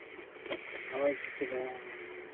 மனோஜ் சுட்டி தான்